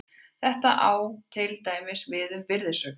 Þetta á til dæmis við um virðisaukaskatt.